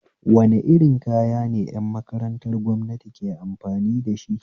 Wani irin kaya ne ƴan makarantar gwamnati ke amfani dashi